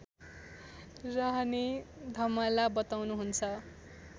रहने धमला बताउनुहुन्छ